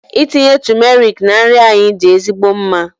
Ịtinye tumeric na nri anyị dị ezigbo mma.